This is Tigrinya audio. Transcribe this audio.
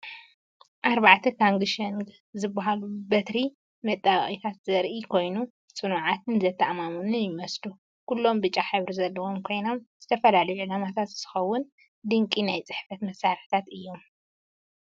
ኣርባዕተ 'ካንግሸንግ' ዝበሃሉ በትሪ መጣበቒታት ዘርኢ ኮይኑ፡ ጽኑዓትን ዘተኣማምኑን ይመስሉ። ኩሎም ብጫ ሕብሪ ዘለዎም ኮይኖም ንዝተፈላለዩ ዕላማታት ዝኸውን ድንቂ ናይ ጽሕፈት መሳርሒታት እዮም!